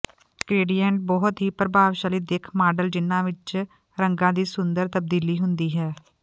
gradient ਬਹੁਤ ਹੀ ਪ੍ਰਭਾਵਸ਼ਾਲੀ ਦਿੱਖ ਮਾਡਲ ਜਿਨ੍ਹਾਂ ਵਿੱਚ ਰੰਗਾਂ ਦੀ ਸੁੰਦਰ ਤਬਦੀਲੀ ਹੁੰਦੀ ਹੈ